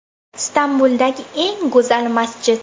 Istanbuldagi eng go‘zal masjid .